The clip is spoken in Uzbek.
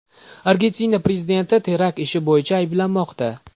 Argentina prezidenti terakt ishi bo‘yicha ayblanmoqda.